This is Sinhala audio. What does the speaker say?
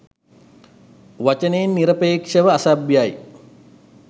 වචනයෙන් නිරපේක්ෂව අසභ්‍යයි